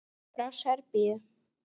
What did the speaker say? Frá Serbíu.